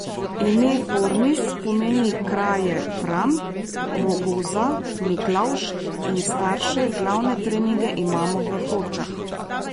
Ime Formis pomeni kraje Fram, Rogoza, Miklavž in Starše, glavne treninge imamo v Hočah.